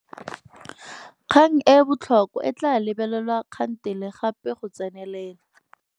Kgang e e botlhokwa e tla lebelelwa kgantele gape go tsenelela.